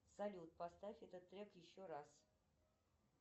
салют поставь этот трек еще раз